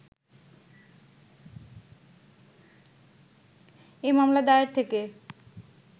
এ মামলা দায়ের থেকে